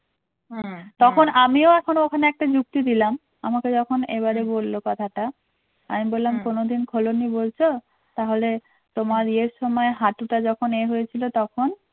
তখন আমিও এখনো ওখানে একটা যুক্তি দিলাম আমাকে যখন এবারে বললো কথাটা আমি বললাম কোনোদিন খোলোনি বলছো তাহলে তোমার ইয়ের সময় হাঁটুটা যখন ইয়ে হয়েছিল তখন